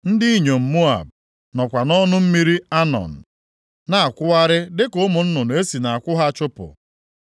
Ndị inyom Moab nọkwa nʼọnụ mmiri Anọn + 16:2 Mmiri Anọn nke dị nʼakụkụ ugwu oke ala ahụ, bụ iyi dị mkpa nʼala Moab \+xt Ọnụ 21:13-14\+xt* na-akwụgharị dịka ụmụ nnụnụ e si nʼakwụ ha chụpụ.